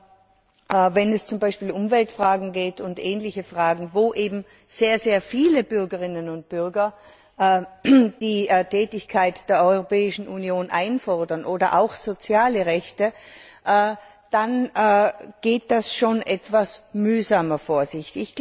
Aber wenn es zum Beispiel um Umweltfragen und ähnliche Fragen geht, wo eben sehr viele Bürgerinnen und Bürger die Tätigkeit der Europäischen Union einfordern, oder auch soziale Rechte, dann geht das schon etwas mühsamer vor sich.